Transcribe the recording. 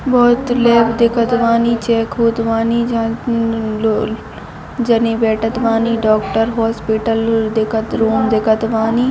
बहुत लोग दिखत बानी चेक होत बानी जहा लो जने बैठत बानी डोक्टर होस्पीटल देखत रूम देखत बानी--